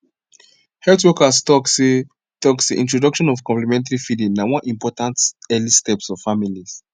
health workers talk seh talk seh introduction of complementary feeding na one important early steps for families